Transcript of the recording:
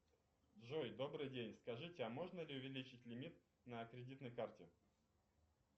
джой добрый день скажите а можно ли увеличить лимит на кредитной карте